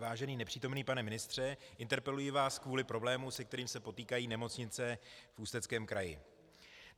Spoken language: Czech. Vážený nepřítomný pane ministře, interpeluji vás kvůli problému, se kterým se potýkají nemocnice v Ústeckém kraji.